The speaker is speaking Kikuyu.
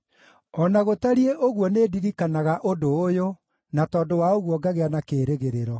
O na gũtariĩ ũguo nĩndirikanaga ũndũ ũyũ, na tondũ wa ũguo ngagĩa na kĩĩrĩgĩrĩro: